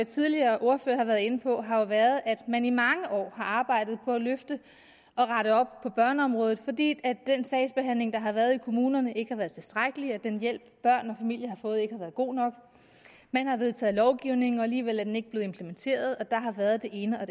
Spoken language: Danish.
tidligere ordførere har været inde på har jo været at man i mange år har arbejdet på at løfte og rette op på børneområdet fordi den sagsbehandling der har været i kommunerne ikke har været tilstrækkelig den hjælp børn og familier har fået har ikke været god nok man har vedtaget lovgivning og alligevel er den ikke blevet implementeret og der har været det ene og